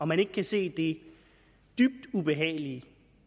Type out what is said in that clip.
man ikke se det dybt ubehagelige